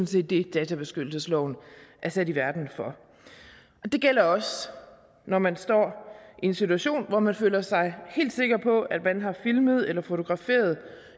set det databeskyttelsesloven er sat i verden for det gælder også når man står i en situation hvor man føler sig helt sikker på at man har filmet eller fotograferet